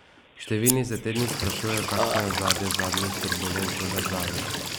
Številni se te dni sprašujejo, kakšno je ozadje zadnjih turbulenc v državi?